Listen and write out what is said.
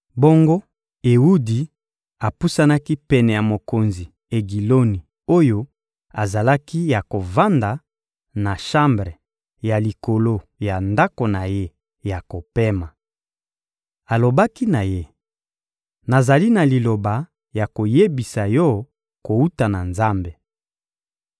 Bongo Ewudi apusanaki pene ya mokonzi Egiloni oyo azalaki ya kovanda na shambre ya likolo ya ndako na ye ya kopema. Alobaki na ye: — Nazali na liloba ya koyebisa yo kowuta na Nzambe.